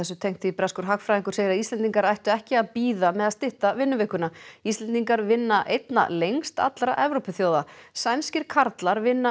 breskur hagfræðingur segir að Íslendingar ættu ekki að bíða með að stytta vinnuvikuna Íslendingar vinna einna lengst allra Evrópuþjóða sænskir karlar vinna